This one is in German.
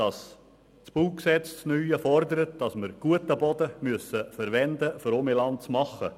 Das neue Baugesetz fordert, dass wir guten Boden verwenden müssen, um mehr Land zu machen.